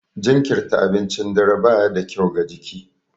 Jinkirirta abincin dare ba ya da kyau ga jiki.